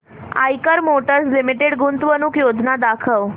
Eicher motors limited गुंतवणूक योजना दाखव